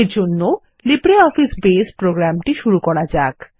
এরজন্য লিব্রিঅফিস বাসে প্রোগ্রামটি শুরু করা যাক